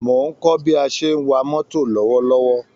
Mò ń kọ́ bí a ṣe ń wa mọ́tò lọ́wọ́lọ́wọ́